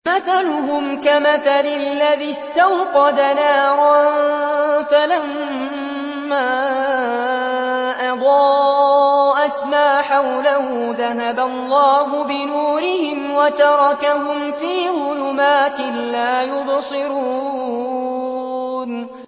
مَثَلُهُمْ كَمَثَلِ الَّذِي اسْتَوْقَدَ نَارًا فَلَمَّا أَضَاءَتْ مَا حَوْلَهُ ذَهَبَ اللَّهُ بِنُورِهِمْ وَتَرَكَهُمْ فِي ظُلُمَاتٍ لَّا يُبْصِرُونَ